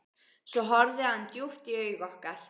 Svo horfði hann djúpt í augu okkar.